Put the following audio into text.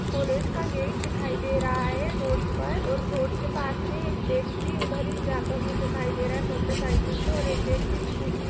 college का gate दिखाई दे रहा है रोड पर और रोड के पास में एक व्यक्ति उधर ही जाता हुआ दिखाई दे रहा है मोटरसाइकिल से और एक व्यक्ति स्कूटी --